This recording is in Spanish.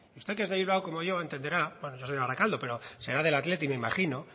usted que es de bilbao como yo entenderá bueno yo soy de barakaldo pero será del athletic me imagino